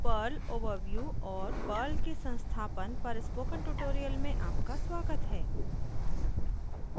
Perl overview perl overview और Perl के संस्थापन installation of perl पर स्पोकन ट्यूटोरियल में आपका स्वागत है